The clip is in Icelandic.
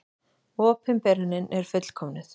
Opinberunin er fullkomnuð.